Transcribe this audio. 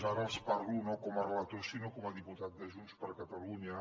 ara els parlo no com a relator sinó com a diputat de junts per catalunya